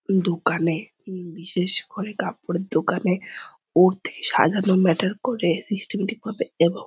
দোকানে বিশেষ করে কাপড়ের দোকানে উর্দ্ধে সাজানো ম্যাটার করে। সিস্টেমেটিক ভাবে এবং--